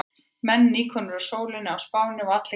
Menn nýkomnir úr sólinni á Spáni og allir glaðir.